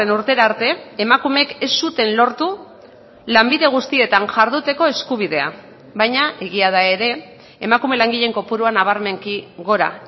urtera arte emakumeek ez zuten lortu lanbide guztietan jarduteko eskubidea baina egia da ere emakume langileen kopurua nabarmenki gora